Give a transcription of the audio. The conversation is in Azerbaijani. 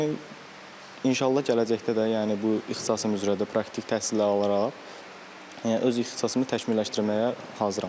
Yəni inşallah gələcəkdə də yəni bu ixtisasım üzrə də praktik təhsillər alaraq, yəni öz ixtisasımı təkmilləşdirməyə hazıram.